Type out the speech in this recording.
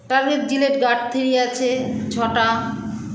target Gillette gurde three আছে ছটা